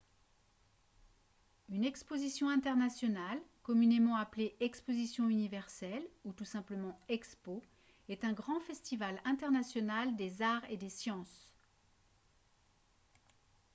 une exposition internationale communément appelée exposition universelle ou tout simplement expo est un grand festival international des arts et des sciences